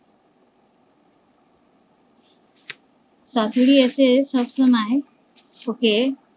শাশুড়ি এসে সব সময় ওকে